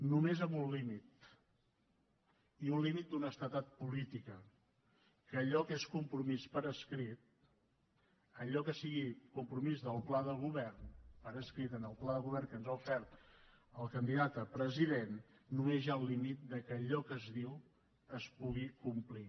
només amb un límit i un límit d’honestedat política que allò que és compromís per escrit allò que sigui compromís del pla de govern per escrit en el pla de govern que ens ha ofert el candidat a president només hi ha el límit que allò que es diu es pugui complir